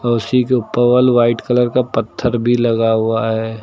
औ उसी के ऊपर वल व्हाइट कलर का पत्थर भी लगा हुआ है।